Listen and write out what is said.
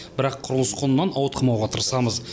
бірақ құрылыс құнынан ауытқымауға тырысамыз